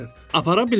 Apara bilmərəm?